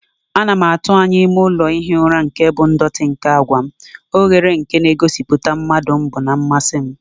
Ana m atụ anya ime ụlọ ihi ụra nke bụ ndọtị nke àgwà m, oghere nke na-egosipụta mmadu mbu na mmasị m.